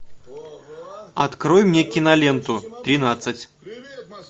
открой мне киноленту тринадцать